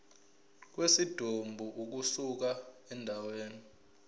kwesidumbu ukusuka endaweni